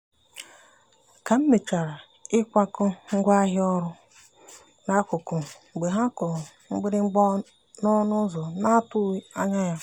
ka m mechara ịkwakọ ngwaahịa ọrụ n'akụkụ mgbe ha kụrụ mgbịrịgba ọnụ ụzọ na-atụghị anya ya.